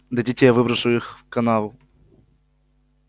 дадите я выброшу их в канаву